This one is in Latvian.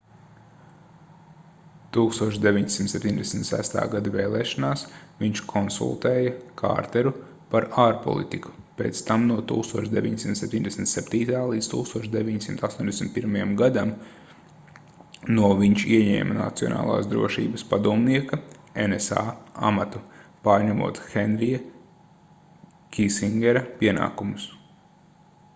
1976. gada vēlēšanās viņš konsultēja kārteru par ārpolitiku; pēc tam no 1977. līdz 1981. gadam no viņš ieņēma nacionālās drošības padomnieka nsa amatu pārņemot henrija kisingera pienākumus